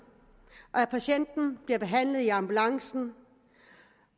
og at patienten bliver behandlet i ambulancen